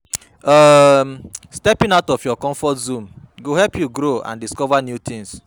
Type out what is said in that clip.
um Stepping out of your comfort zone go help you grow and discover new tings.